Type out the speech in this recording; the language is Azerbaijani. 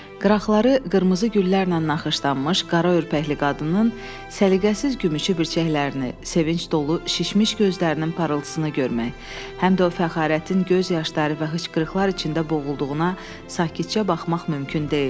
Qıraqları qırmızı güllərlə naxışlanmış qara örpəkli qadının səliqəsiz gümüşü bircəklərini, sevinc dolu şişmiş gözlərinin parıltısını görmək, həm də o fəxarətin göz yaşları və hıçqırıqlar içində boğulduğuna sakitcə baxmaq mümkün deyildi.